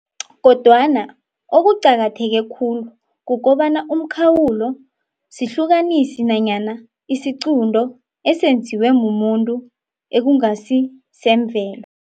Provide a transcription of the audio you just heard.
Kodwana, okuqakatheke khulu kukobana umkhawulo sihlukanisi nanyana isiqunto esenziwe mumuntu ekungasi semvelo.